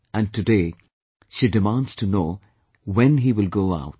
And today, she demands to know when he will go out